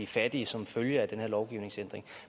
fattige som følge af den her lovgivningsændring